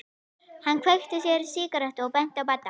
Hann kveikti sér í sígarettu og benti á Badda.